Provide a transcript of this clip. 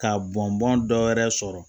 Ka bɔn bɔn dɔ wɛrɛ sɔrɔ